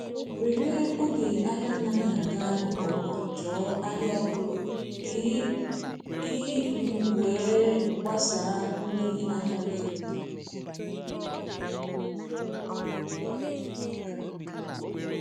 were oge ahia anaghi aga nke ọma chọọ ahịa ọhụrụ ka ị um were gbasaa ndị ahịa gị.